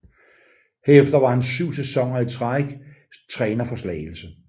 Herefter var han syv sæsoner i træk træner for Slagelse